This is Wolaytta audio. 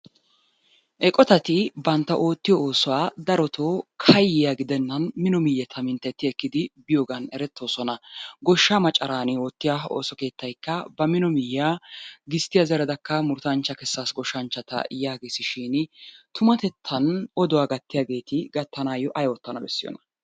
Eqotatti bantta otiyo osuwaa daroto kayiyaa gidenanni mino miyetta mintetti ekiddi biyoganni erettosonnaa, goshaa macaranni ottiyaa ha oso kettayikkaa ba mino miyayaa gistiyaa zeradaka muruttaanchaa kesasi goshanchata yagessishinni tumattetanni oduwaa gatiyaagetti gatanayo ayi otanawu besiyonna?